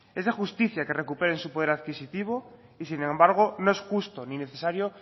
es de justicia que recuperen su poder adquisitivo y sin embargo no es justo ni necesario